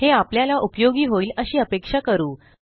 हे आपल्याला उपयोगी होईल अशी अपेक्षा करू